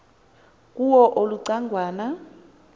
kuwo uluca ngwana